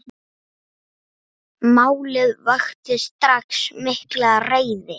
Málið vakti strax mikla reiði.